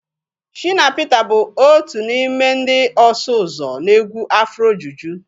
Shina Peters bụ otu n'ime ndị ọsụ ụzọ na egwu afrojuju